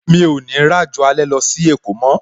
Mi ò ní ràjò alẹ́ lọ sí èkó mó